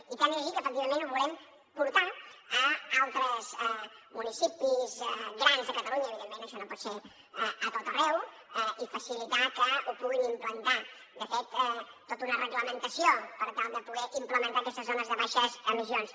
i tant és així que efectivament ho volem portar a altres municipis grans de catalunya evidentment això no pot ser a tot arreu i facilitar que ho puguin implantar de fet tota una reglamentació per tal de poder implementar aquestes zones de baixes emissions